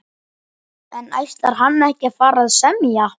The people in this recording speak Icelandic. En ætlar hann ekki að fara að semja?